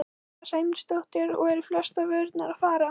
Sunna Sæmundsdóttir: Og eru flestar vörurnar að fara?